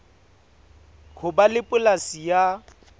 ho ba le polasi ya